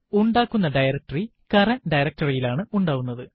ഉണ്ടാക്കുന്ന directory current directory യിലാണ് ഉണ്ടാവുന്നത്